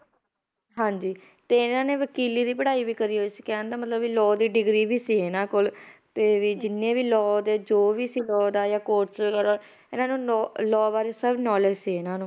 ਹਾਂਜੀ ਤੇ ਇਹਨਾਂ ਨੇ ਵਕੀਲੀ ਦੀ ਪੜ੍ਹਾਈ ਵੀ ਕਰੀ ਹੋਈ ਸੀ ਕਹਿਣ ਦਾ ਮਤਲਬ ਵੀ law ਦੀ degree ਵੀ ਸੀ ਇਹਨਾਂ ਕੋਲ ਤੇ ਵੀ ਜਿੰਨੇ ਵੀ law ਦੇ ਜੋ ਵੀ ਸੀ law ਦਾ ਜਾਂ ਇਹਨਾਂ ਨੂੰ ਨੋ law ਬਾਰੇ ਸਭ knowledge ਸੀ ਇਹਨਾਂ ਨੂੰ